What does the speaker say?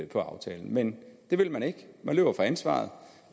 på aftalen men det vil man ikke man løber fra ansvaret